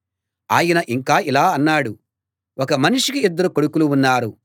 ఆయన ఇంకా ఇలా అన్నాడు ఒక మనిషికి ఇద్దరు కొడుకులు ఉన్నారు